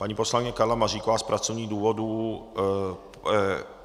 Paní poslankyně Karla Maříková z pracovních důvodů...